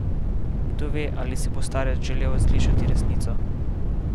Kdo ve, ali si bo starec želel slišati resnico?